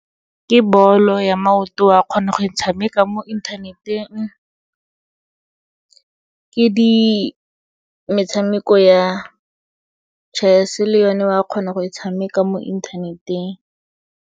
Ke bolo ya maoto, wa kgona go e tshameka mo inthaneteng. Ke metshameko ya chess-e, le yone wa kgona go e tshameka mo inthaneteng.